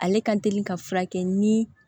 Ale ka teli ka furakɛ ni